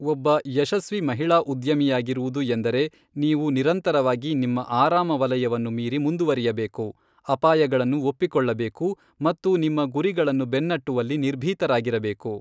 ಒಬ್ಬ ಯಶಸ್ವಿ ಮಹಿಳಾ ಉದ್ಯಮಿಯಾಗಿರುವುದು ಎಂದರೆ ನೀವು ನಿರಂತರವಾಗಿ ನಿಮ್ಮ ಆರಾಮವಲಯವನ್ನು ಮೀರಿ ಮುಂದುವರಿಯಬೇಕು, ಅಪಾಯಗಳನ್ನು ಒಪ್ಪಿಕೊಳ್ಳಬೇಕು ಮತ್ತು ನಿಮ್ಮ ಗುರಿಗಳನ್ನು ಬೆನ್ನಟ್ಟುವಲ್ಲಿ ನಿರ್ಭೀತರಾಗಿರಬೇಕು.